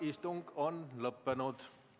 Istung on lõppenud.